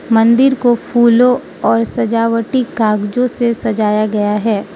मंदिर को फूलों और सजावटी कागजों से सजाया गया है।